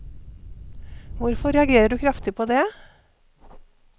Hvorfor reagerer du kraftig på det?